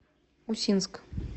усинск